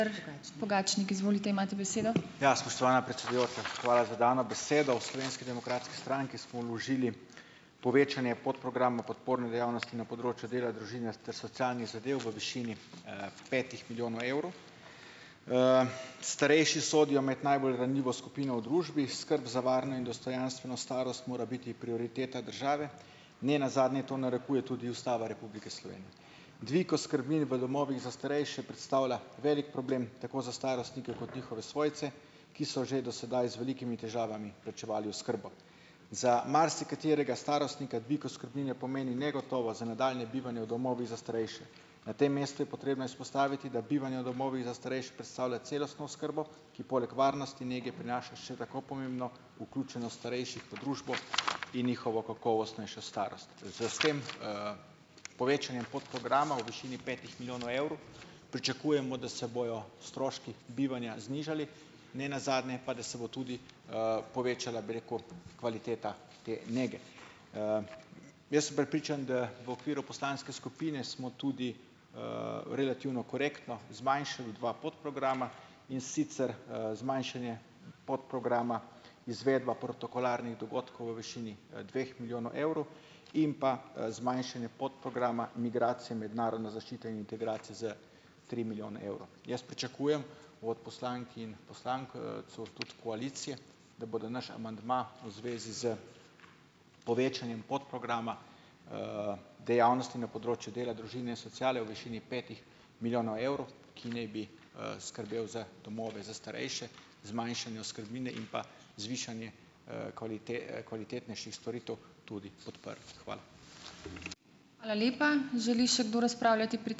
Ja, spoštovana predsedujoča, hvala za dano besedo. V Slovenski demokratski stranki smo vložili povečanje podprograma Podporne dejavnosti na področju dela, družine ter socialnih zadev v višini, petih milijonov evrov. Starejši sodijo med najbolj ranljivo skupino v družbi. Skrb za varno in dostojanstveno starost mora biti prioriteta države, ne nazadnje to narekuje tudi Ustava Republike Slovenije. Dvig oskrbnine v domovih za starejše predstavlja velik problem tako za starostnike kot njihove svojce, ki so že do sedaj z velikimi težavami plačevali oskrbo. Za marsikaterega starostnika dvig oskrbnine pomeni negotovost za nadaljnje bivanje v domovih za starejše. Na tem mestu je potrebno izpostaviti, da bivanje v domovih za starejše predstavlja celostno oskrbo, ki poleg varnosti, nege prinaša še tako pomembno vključenost starejših v družbo in njihovo kakovostnejšo starost. S tem, povečanjem podprograma v višini petih milijonov evrov pričakujemo, da se bojo stroški bivanja znižali, ne nazadnje pa, da se bo tudi, povečala, bi rekel, kvaliteta te nege. Jaz sem prepričan, da v okviru poslanske skupine smo tudi, relativno korektno zmanjšali dva podprograma, in sicer, zmanjšanje podprograma Izvedba protokolarnih dogodkov v višini dveh milijonov evrov in pa, zmanjšanje podprograma Migracije, mednarodno zaščito in integracij za tri milijone evrov. Jaz pričakujem od poslank in poslank, tudi koalicije, da bodo naš amandma v zvezi s povečanjem podprograma, dejavnosti na področju dela, družine, sociale v višini petih milijonov evrov, ki naj bi, skrbel za domove za starejše, zmanjšanje oskrbnine in pa zvišanje, kvalitetnejših storitev, tudi podprli. Hvala.